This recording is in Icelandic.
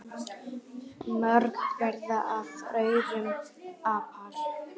Mörg verða af aurum apar.